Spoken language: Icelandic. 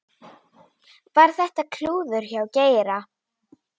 Var þetta klúður hjá Geira?